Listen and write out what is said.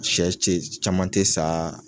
Sɛ te caman te sa